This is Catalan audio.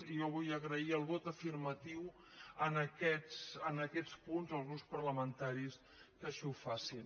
i jo vull agrair el vot afirmatiu en aquests punts als grups parlamentaris que així ho facin